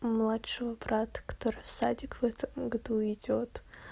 младшего брата который в садик в этом году идёт